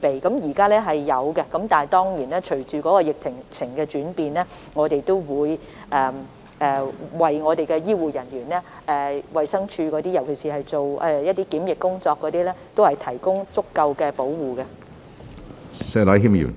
現時庫存量充足，但隨着疫情的轉變，供應會緊張，不過我們會為醫護人員，尤其是衞生署負責檢疫工作的人員，提供足夠的裝備。